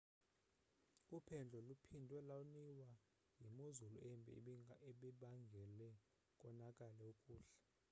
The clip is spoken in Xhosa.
uphendlo luphindwe loniwa yimozulu embi ebibangele konakale ukuhlala